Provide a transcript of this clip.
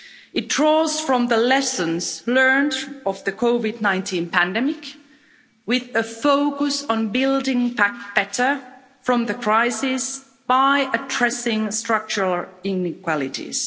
It draws from the lessons learned from the COVID 19 pandemic, with a focus on building back better from the crisis by addressing structural inequalities.